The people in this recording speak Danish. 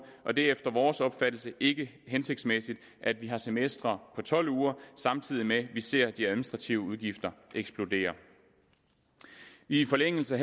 og det er efter vores opfattelse ikke hensigtsmæssigt at vi har semestre på tolv uger samtidig med at vi ser at de administrative udgifter eksploderer i forlængelse